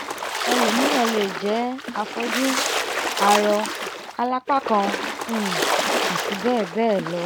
ẹlòmíràn lè jẹ́ afọ́jú arọ alápá'kan um àti bẹ́ẹ̀ bẹ́ẹ̀ lọ